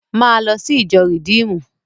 Máa lọ sí ìjọ Rìdíímùnù!